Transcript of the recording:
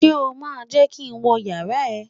Ṣé o máa jẹ́ kí n wọ yàrá ẹ?